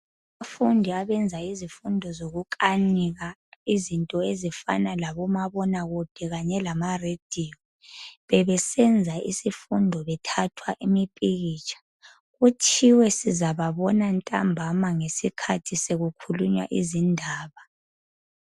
Abafundi abenza izifundo zokukanika izinto ezifana labomabonakude kanye lamarediyo, bebesenza isifundo bethathwa imipikitsha. Kuthiwe sizababona ntambama ngesikhathi sekukhulunywa izindaba.